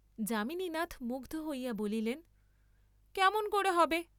যামিনীনাথ মুগ্ধ হইয়া বলিলেন কেমন করে হবে?